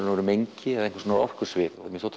mengi eða orkusvið mér finnst